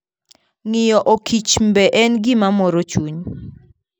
Ng'iyo okichmbe en gima moro chuny.